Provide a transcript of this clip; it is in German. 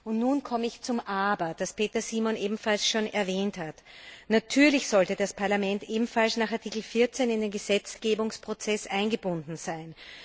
Und nun komme ich zum Aber, das Peter Simon ebenfalls schon erwähnt hat Natürlich sollte das Parlament ebenfalls nach Artikel 14 in den Gesetzgebungsprozess eingebunden sein.